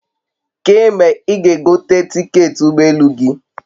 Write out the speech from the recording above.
Kee mgbe i ga egote tiketi ugbo elu gi?